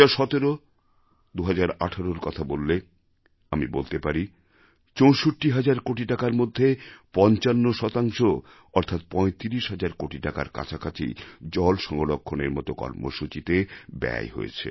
২০১৭১৮র কথা বললে আমি বলতে পারি ৬৪ হাজার কোটি টাকার মধ্যে ৫৫ অর্থাৎ ৩৫ হাজার কোটি টাকার কাছাকাছি জলসংরক্ষণের মত কর্মসূচিতে ব্যয় হয়েছে